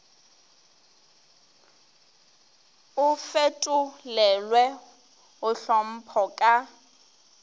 o fetolelwe go tlhopho ka